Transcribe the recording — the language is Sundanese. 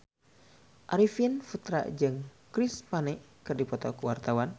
Arifin Putra jeung Chris Pane keur dipoto ku wartawan